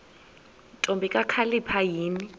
ntombi kakhalipha yini